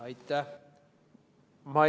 Aitäh!